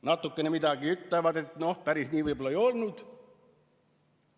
Natukene midagi ütlevad, et päris nii võib-olla ei olnud.